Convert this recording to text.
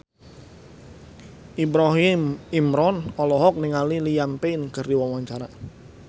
Ibrahim Imran olohok ningali Liam Payne keur diwawancara